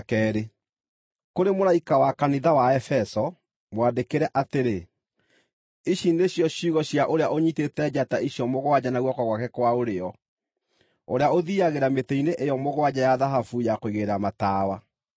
“Kũrĩ mũraika wa Kanitha wa Efeso, mwandĩkĩre atĩrĩ: Ici nĩcio ciugo cia ũrĩa ũnyiitĩte njata icio mũgwanja na guoko gwake kwa ũrĩo, ũrĩa ũthiiagĩra mĩtĩ-inĩ ĩyo mũgwanja ya thahabu ya kũigĩrĩra matawa.